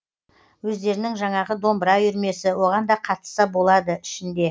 өздерінің жаңағы домбыра үйірмесі оған да қатысса болады ішінде